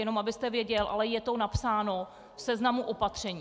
Jenom abyste věděl, ale je to napsáno v seznamu opatření.